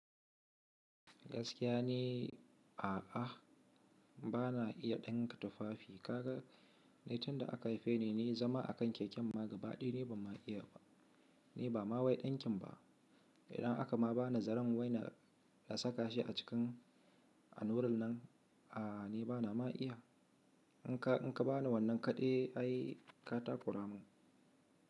Gaskiya ne a'a, bana iya ɗinka tufafi. Kaga, ni tun da aka haife ni, ni zama a kan keken ma gaba ɗaya ni banma iya ba, ni ba ma wai ɗinkin ba. Idan aka ma bani zaren wai na saka shi a ciki a allurar nan, a'a ni bana ma iya. In ka ba ni wannan kaɗai ai ka takura mun.